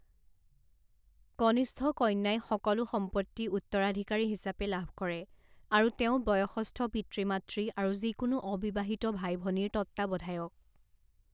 কনিষ্ঠ কন্যাই সকলো সম্পত্তি উত্তৰাধিকাৰী হিচাপে লাভ কৰে আৰু তেওঁ বয়সস্থ পিতৃ মাতৃ আৰু যিকোনো অবিবাহিত ভাই ভনীৰ তত্ত্বাৱধায়ক।